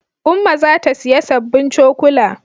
Umma za ta siya sabbin cokula